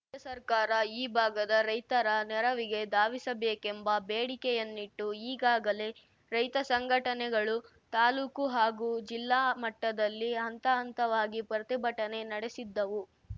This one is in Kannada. ರಾಜ್ಯ ಸರ್ಕಾರ ಈ ಭಾಗದ ರೈತರ ನೆರವಿಗೆ ಧಾವಿಸಬೇಕೆಂಬ ಬೇಡಿಕೆಯನ್ನಿಟ್ಟು ಈಗಾಗಲೇ ರೈತ ಸಂಘಟನೆಗಳು ತಾಲೂಕು ಹಾಗೂ ಜಿಲ್ಲಾ ಮಟ್ಟದಲ್ಲಿ ಹಂತ ಹಂತವಾಗಿ ಪ್ರತಿಭಟನೆ ನಡೆಸಿದ್ದವು